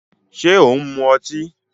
Ṣé ò ń mu ọtí?